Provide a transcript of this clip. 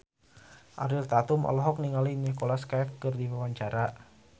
Ariel Tatum olohok ningali Nicholas Cafe keur diwawancara